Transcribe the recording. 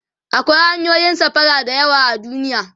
akwai hanyoyin safara da yawa a duniya